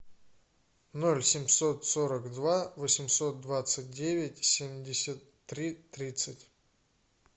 ноль семьсот сорок два восемьсот двадцать девять семьдесят три тридцать